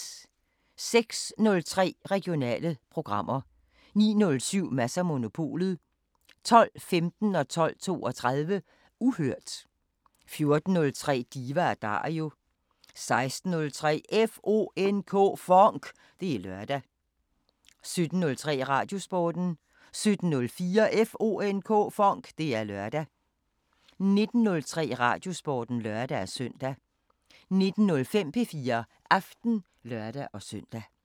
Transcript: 06:03: Regionale programmer 09:07: Mads & Monopolet 12:15: Uhørt 12:32: Uhørt 14:03: Diva & Dario 16:03: FONK! Det er lørdag 17:03: Radiosporten 17:04: FONK! Det er lørdag 19:03: Radiosporten (lør-søn) 19:05: P4 Aften (lør-søn)